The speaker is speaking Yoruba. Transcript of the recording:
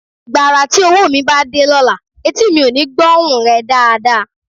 Gbàrà tí owó mi bá dé lọ́la, etí mi ò ní gbóhun rẹ dáadáa